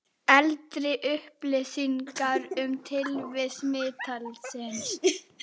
Eldri upplýsingar um tilvist mítilsins